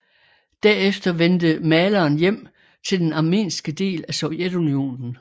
Derefter vendte maleren hjem til den armenske del af Sovjetunionen